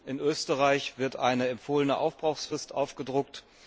in Österreich wird eine empfohlene Aufbrauchsfrist aufgedruckt.